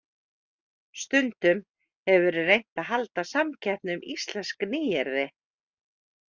Stundum hefur verið reynt að halda samkeppni um íslensk nýyrði.